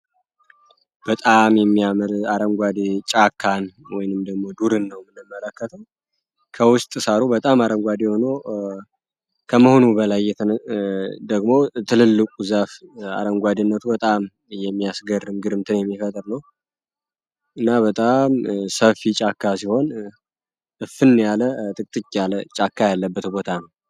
በጣም የሚያምር አረንጓዴ ጫካን ወይንም ደግሞ ዱርን ነው ምንመለከተው ከውስጥ ሳሩ በጣም አረንጓዴ ሆኖ ከመሆኑ በላይ የተነ ደግሞ ትልልቁ ዛፍ አረንጓዴነቱ በጣም እየሚያስገርም ግርምትን የሚፈጥር ነው እና በጣም ሰፊ ጫካ ሲሆን እፍን ያለ ጥቅትክ ያለ ጫካ ያለበት ቦታ ነው